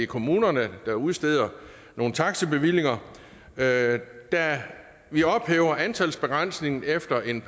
kommunerne der udsteder nogle taxibevillinger da vi ophæver antalsbegrænsningen efter en